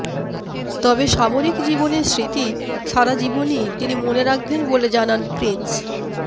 তবে সামরিক জীবনের স্মৃতি সারা জীবনই তিনি মনে রাখবেন বলে জানান প্রিন্স